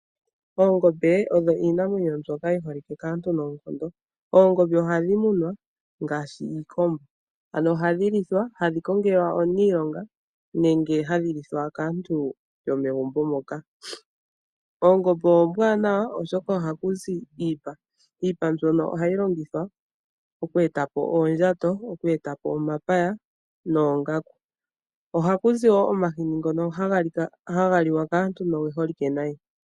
Oongombe odho iimwenyo mbyoka yi holike kaantu noonkondo. Oongombe ohadhi munwa ngaashi iikombo, ano ohadhi lithwa no hadhi kongelwa omuniilonga nenge hadhi lithwa kantu yomegumbo moka. Oongombe ombwaanawa oshoka ohaku zi iipa mbyono hayi longithwa okweetapo oondjato, omapaya noongaku, ohaķu zi wo omahini ngono haga liwa kaantu no ge holike nayi.